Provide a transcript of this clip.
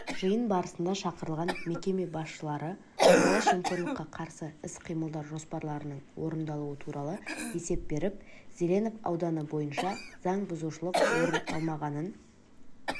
жиын барысында шақырылған мекеме басшылары сыбайлас жемқорлыққа қарсы іс қимылдар жоспарларының орындалуы туралы есеп беріп зеленов ауданы бойынша заң бұзушылық орын алмағанын